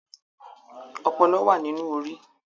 Ọpọlọ wa nínú Orí.